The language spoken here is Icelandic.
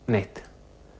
neitt